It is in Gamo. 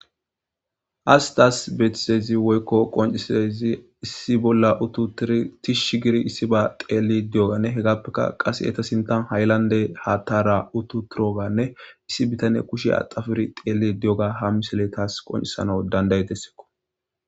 Hassi tassi betiddayissi woyi qoncidayissi issi bolla utiddi tishi giddi issiba xelli utidayis etta sinthani qase hayilanide hathara utiutidoganne issi bittaneyi kushiya axappi utidogga ha misipleyi taassi qoncisinasi danidayesi